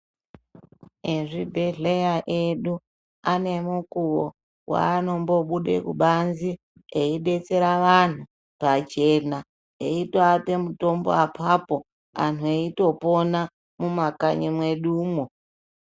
Ezvibhehleya edu ane mukuwo wanombobude kubanze echidetsera vantu pachena eitoape mutombo apapo anhu eitopona mumakanyi mwedumwo.